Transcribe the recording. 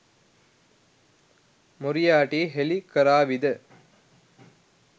Moriarty හෙළි කරාවිද?